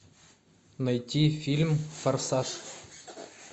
найти фильм форсаж